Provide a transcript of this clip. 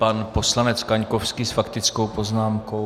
Pan poslanec Kaňkovský s faktickou poznámkou.